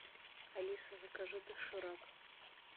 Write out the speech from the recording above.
алиса закажи доширак